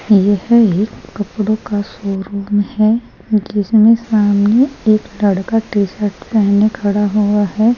यह एक कपड़ों का शोरूम है जिसमें सामने एक लड़का टी-शर्ट पहने खड़ा हुआ है।